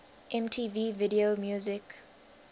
mtv video music